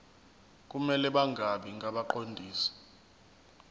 kumele bangabi ngabaqondisi